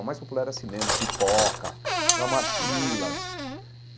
O mais popular era cinema, pipoca, filas.